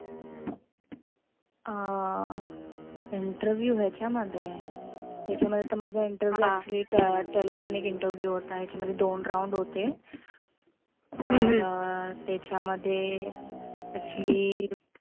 अं interview ह्याच्यामध्ये, ह्याच्यामध्ये तर माझा interview तर telephonic interview होता. याच्यामध्ये दोन round होते. तर त्याच्यामध्ये actually